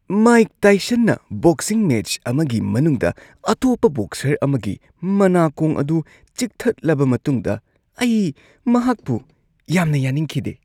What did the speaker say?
Mike ꯇꯥꯏꯁꯟꯅ boxing match ꯑꯃꯒꯤ ꯃꯅꯨꯡꯗ ꯑꯇꯣꯞꯄ ꯕꯣꯛꯁꯔ ꯑꯃꯒꯤ ꯃꯅꯥꯀꯣꯡ ꯑꯗꯨ ꯆꯤꯛꯊꯠꯂꯕ ꯃꯇꯨꯡꯗ ꯑꯩ ꯃꯍꯥꯛꯄꯨ ꯌꯥꯝꯅ ꯌꯥꯅꯤꯡꯈꯤꯗꯦ ꯫